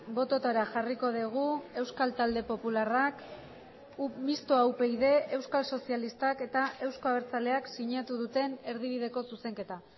bototara jarriko dugu euskal talde popularrak mistoa upyd euskal sozialistak eta euzko abertzaleak sinatu duten erdibideko zuzenketa